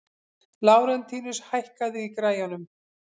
Lárentíus, hækkaðu í græjunum.